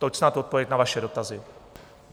Toť snad odpověď na vaše dotazy.